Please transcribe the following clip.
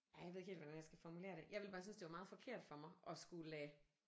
Ej jeg ved ikke helt hvordan jeg skal formulere det jeg ville bare synes det var meget forkert for mig at skulle lade